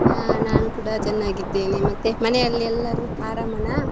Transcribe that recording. ಹಾ ನಾನ್ ಕೂಡ ಚನ್ನಾಗಿದ್ದೇನೆ ಮತ್ತೆ ಮನೇಲಿ ಎಲ್ಲರೂ ಆರಾಮನ?